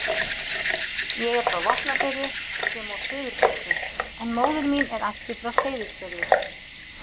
Ég er frá Vopnafirði sem og föðurfólk mitt, en móðir mín er ættuð frá Seyðisfirði.